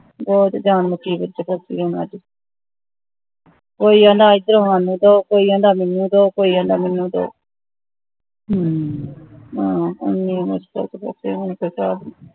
ਬਹੁਤ ਜਾਣ ਦੁਖੀ ਕੀਤੀ ਉਹਨਾਂ ਦੀ ਕੋਈ ਕਹਿੰਦਾ ਏਧਰ ਸਾਨੂੰ ਦੋ ਕੋਈ ਕਹਿੰਦਾ ਮੈਨੂੰ ਦੋ ਕੋਈ ਕਹਿੰਦਾ ਮੈਨੂੰ ਦੋ